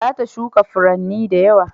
Za ta shuka furanni da yawa